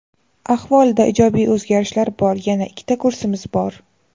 Ahvolida ijobiy o‘zgarishlar bor. Yana ikkita kursimiz bor.